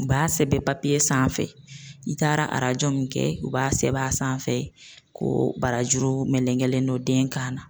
U b'a sɛbɛn papiye sanfɛ i taara arajo min kɛ u b'a sɛbɛn a sanfɛ ko barajuru melegelen dɔ den kan na